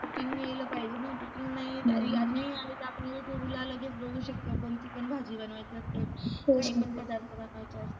cooking यायला पाहिजे ना cooking नाही आलं तर आपण youtube ला लगेच बघू शकतो कोणती पण भाजी बनवायचे असेल काहीपण पदार्थ बनवायचे असतील.